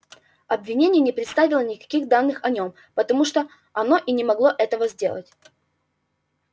обвинение не представило никаких данных о нём потому что оно и не могло этого сделать